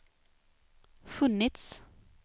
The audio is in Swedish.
funnits